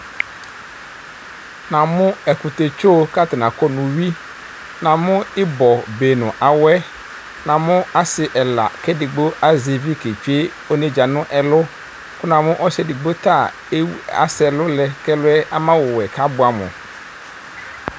namo ɛkutɛ tso ko atani akɔ no uwi namo ibɔ be no awɛ namo asi ɛla ko edigbo azɛ ivi ketsue onedza no ɛlu ko namo ɔsi edigbo ta ewu asɛ ɛlu lɛ ko ɛluɛ ama ɔwɛ ko aboɛ amo